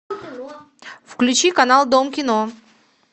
включи канал дом кино